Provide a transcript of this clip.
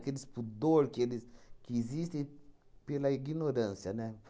Aqueles pudor que eles que existe pela ignorância, né?